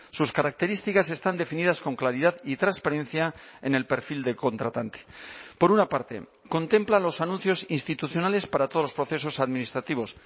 sus características están definidas con claridad y transparencia en el perfil de contratante por una parte contempla los anuncios institucionales para todos los procesos administrativos